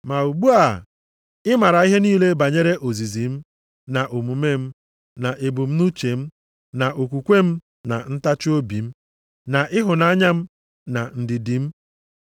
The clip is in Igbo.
Ma ugbu a, ị maara ihe niile banyere ozizi m, na omume m, na ebumnuche m, na okwukwe m na ntachiobi m, na ịhụnanya m, na ndidi m,